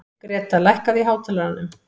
Greta, lækkaðu í hátalaranum.